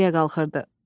Yol təpəyə qalırdı.